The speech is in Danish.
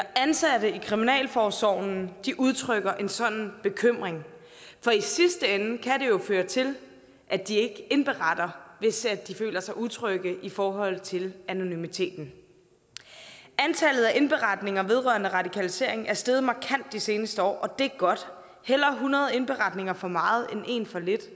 ansatte i kriminalforsorgen udtrykker en sådan bekymring for i sidste ende kan jo føre til at de ikke indberetter hvis de føler sig utrygge i forhold til anonymiteten antallet af indberetninger vedrørende radikalisering er steget markant de seneste år og det er godt hellere hundrede indberetninger for meget end en for lidt